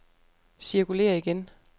cirkulér igen